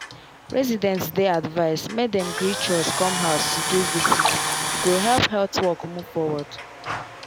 residents dey advised make dem gree chws come house to do visit e go help health work move forward.